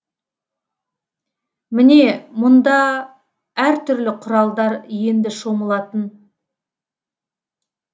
міне мында әртүрлі құралдар енді шомылатын